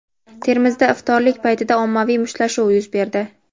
Termizda iftorlik paytida ommaviy mushtlashuv yuz berdi.